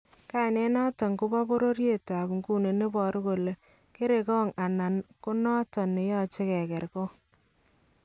Kainet noton koboo bororyetab Nguni nebaru kole "kerankong' "anan ko noton neyache kekergong'